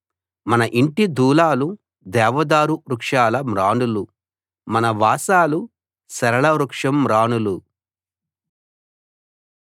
మన ఇంటి దూలాలు దేవదారు వృక్షం మ్రానులు మన వాసాలు సరళ వృక్షం మ్రానులు